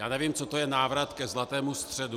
Já nevím, co to je návrat ke zlatému středu...